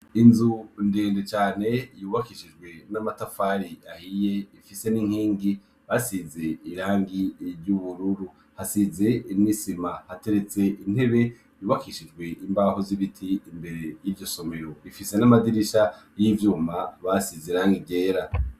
Inzu ndende cane yubakishijwe n'amatafari ahiye hamwe n'inkingi basize irangi ru'ubururu. Hasize n'isima hateretse intebe zubakishijwe imbaho z'ibiti iryo somero rifise n'amadirisha basize irangi ryera.